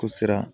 Siran